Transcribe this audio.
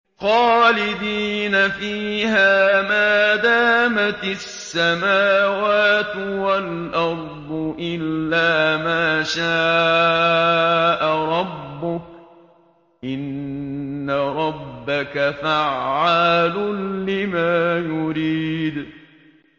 خَالِدِينَ فِيهَا مَا دَامَتِ السَّمَاوَاتُ وَالْأَرْضُ إِلَّا مَا شَاءَ رَبُّكَ ۚ إِنَّ رَبَّكَ فَعَّالٌ لِّمَا يُرِيدُ